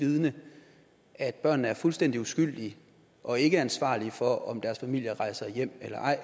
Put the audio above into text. vidende at børnene er fuldstændig uskyldige og ikke ansvarlige for om deres familier rejser hjem eller ej